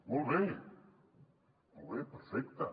molt bé molt bé perfecte